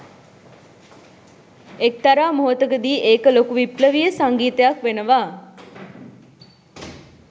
එක්තරා මොහොතකදි ඒක ලොකු විප්ලවීය සංගීතයක් වෙනවා